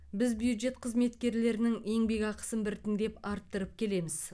біз бюджет қызметкерлерінің еңбек ақысын біртіндеп арттырып келеміз